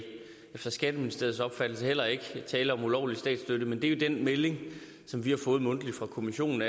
efter skatteministeriets opfattelse heller ikke tale om ulovlig statsstøtte men det er jo den melding vi har fået mundtligt fra kommissionen